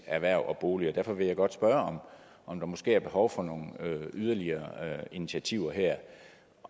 erhverv og bolig derfor vil jeg godt spørge om der måske er behov for nogle yderligere initiativer her